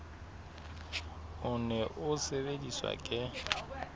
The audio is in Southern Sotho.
o ne o sebediswa ke